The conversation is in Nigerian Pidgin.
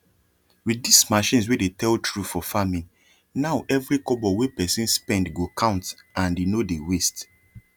with this machines wey dey tell true for farming nowevery kobo wey person spend go count and e no dey waste